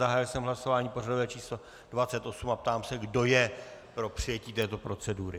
Zahájil jsem hlasování pořadové číslo 28 a ptám se, kdo je pro přijetí této procedury.